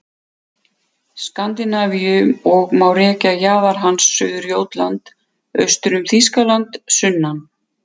Skandinavíu og má rekja jaðar hans suður Jótland, austur um Þýskaland sunnan